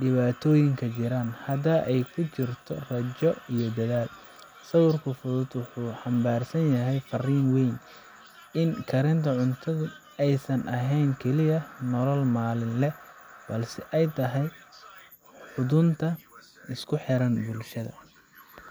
dhibaatooyinkeedu jiraan, haddana ay ku jirto rajo iyo dadaal. Sawirkan fudud wuxuu xambaarsan yahay fariin weyn: in karinta cunto aysan ahayn oo keliya nolol maalinle ah, balse ay tahay xudunta isku xiran bulshada.